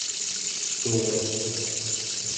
цоя